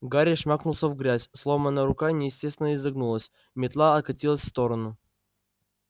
гарри шмякнулся в грязь сломанная рука неестественно изогнулась метла откатилась в сторону